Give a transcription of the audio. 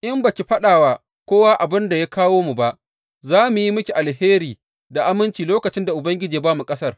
In ba ki faɗa wa kowa abin da ya kawo mu ba, za mu yi miki alheri da aminci lokacin da Ubangiji ya ba mu ƙasar.